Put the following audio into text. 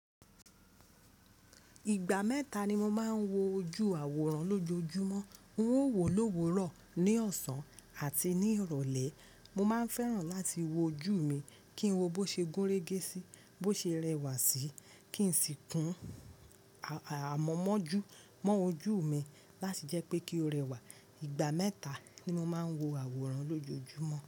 Ìgbà mẹ́ta ni mo máa ń wo ojú àwòrán lójoojúmọ́. N ó wòlówó rọ̀ ní ọ̀sán àti ní ìrọ̀lẹ́. Mo máa ń fẹ́ràn láti wo ojú mi kí n wo bó ṣe gúnrégé sí, bó ṣe rẹwà sí, kí n sì kun àmọ̀mọ́jú mọ́ ojú mi láti jẹ́ pé kí ó rẹwà. Ìgbà mẹ́ta ni mo máa ń wo àwòrán lójoojúmọ́.